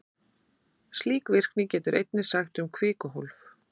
Slík virkni getur einnig sagt til um kvikuhólf.